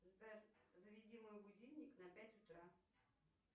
сбер заведи мой будильник на пять утра